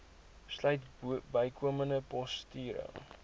sluit bykomende poste